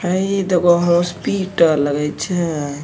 हई दखा हॉस्पिटल लगे छै।